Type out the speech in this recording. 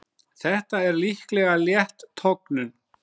Þetta er líklega létt tognun.